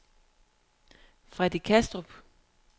Freddy Kastrup